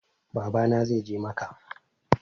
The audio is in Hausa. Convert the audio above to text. Baba na zai je macca